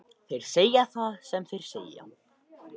Þeir segja það sem þeir segja,